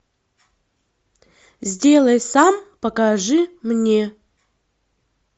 сделай сам покажи мне